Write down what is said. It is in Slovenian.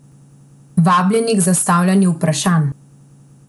Vabljeni k zastavljanju vprašanj!